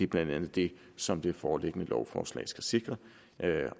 blandt andet det som det foreliggende lovforslag skal sikre